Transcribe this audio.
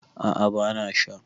a ' a bana Sha